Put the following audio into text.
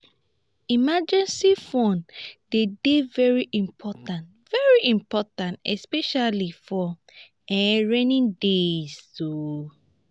emergency fund de dey very important very important especially for um rainy days um